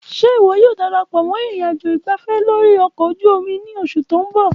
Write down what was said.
Ṣe iwọ yoo darapọ mọ ìnrìnàjò ìgbáfẹ́ lórí ọkọ̀ ojú omi ni oṣu ti n bọ?